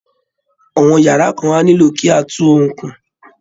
Àwọn yàrá kan á nílò kí á tún un kùn